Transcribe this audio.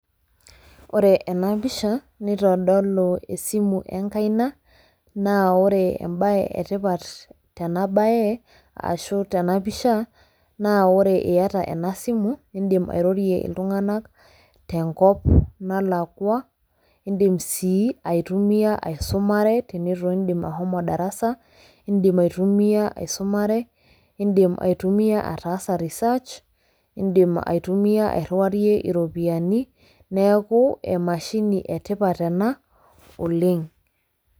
Wore ena pisha nitodolu esimu enkaina, naa wore embaye etipat tenabaye ashu tenapisha, naa wore iata enasimu, iindim airrorie iltunganak tenkop nalakwa. Indiim sii aitumia aisumare tenitu iindim ashomo darasa, iindim aitumia aisumare, iindim aitumia ataasa research, iindim aitumia airriwayie iropiyani, neeku emashini etipat ena oleng'.